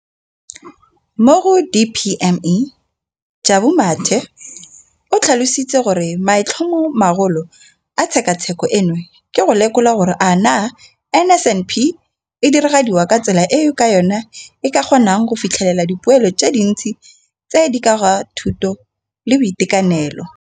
mo go DPME, Jabu Mathe, o tlhalositse gore maitlhomomagolo a tshekatsheko eno ke go lekola gore a naa NSNP e diragadiwa ka tsela eo ka yona e ka kgonang go fitlhelela dipoelo tse dintsi tse di ka ga thuto le boitekanelo.